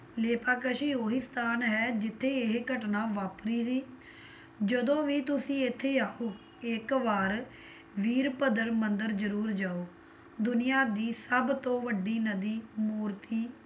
ਲੇਪਾਕਸ਼ੀ ਉਹੀ ਸਥਾਨ ਹੈ ਜਿੱਥੇ ਇਹ ਘਟਨਾ ਵਾਪਰੀ ਸੀ, ਜਦੋ ਵੀ ਤੁਸੀ ਇੱਥੇ ਆਓ ਇੱਕ ਵਾਰ ਵੀਰਭੱਦਰ ਮੰਦਿਰ ਜਰੂਰ ਜਾਓ, ਦੁਨੀਆਂ ਦੀ ਸਭਤੋਂ ਵੱਡੀ ਨਦੀ ਮੂਰਤੀ